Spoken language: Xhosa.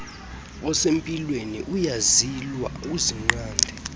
osempilweni uyazilwa uzinqande